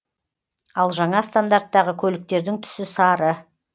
ал жаңа стандарттағы көліктердің түсі сары